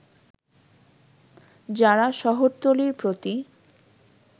যারা শহরতলীর প্রতি